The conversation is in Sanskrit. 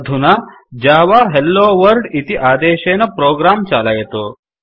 अधुना जव हेलोवर्ल्ड इति आदेशेन प्रोग्राम चालयतु